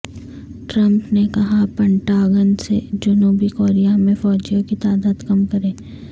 Trump نے کہا Pentagon سے جنوبی کوریا میں فوجیوں کی تعداد کم کرے